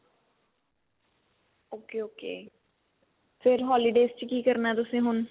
ok ok ਫੇਰ holidays ਚ ਕੀ ਕਰਨਾ ਤੁਸੀਂ ਹੁਣ